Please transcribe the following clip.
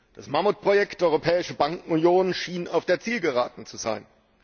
Das Mammutprojekt Europäische Bankenunion schien auf der Zielgeraden zu sein.